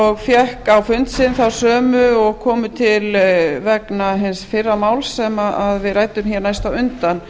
og fékk á fund sinn þá sömu og komu vegna hins fyrra máls sem við ræddum næst á undan